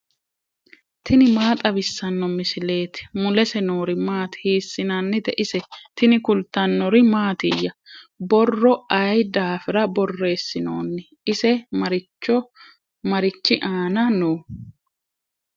tini maa xawissanno misileeti ? mulese noori maati ? hiissinannite ise ? tini kultannori mattiya? borro ayi daafirra borreessinoonni? ise marichi aanna noo?